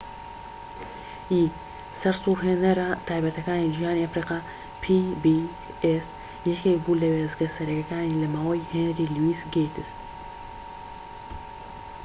یەکێك بوو لە وێستگە سەرەکیەکان لەماوەی هێنری لویس گەیتس pbs ی سەرسورهێنەرە تایبەتیەکانی جیهانی ئەفریقا